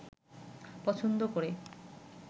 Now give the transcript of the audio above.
পছন্দ করে